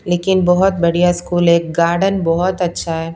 लेकिन बहुत बढ़िया स्कूल है गार्डन बहुत अच्छा है।